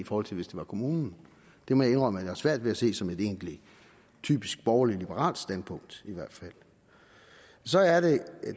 forhold til hvis det var kommunen det må jeg indrømme har svært ved at se som et egentligt typisk borgerlig liberalt standpunkt i hvert fald